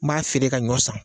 N b'a feere ka ɲɔ san.